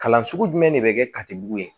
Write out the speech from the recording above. Kalan sugu jumɛn de bɛ kɛ katibugu ye